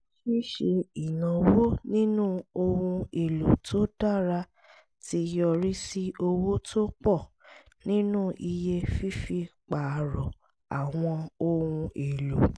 ṣíṣe ìnáwó nínú ohun èlò tó dára ti yọrí sí owó tó pọ̀ nínú iye fífi pààrọ̀ àwọn ohun èlò